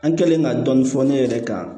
An kɛlen ka dɔnni fɔ ne yɛrɛ kan